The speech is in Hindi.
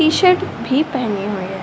टीशर्ट भी पहने हुए है |